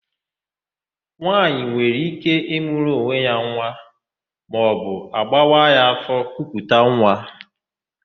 Nwaanyị nwere íké ịmụrụ onwe ya nwa maọbụ agbawa ya áfọ̀ kuputa nwa.